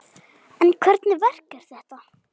En hvernig verk er þetta?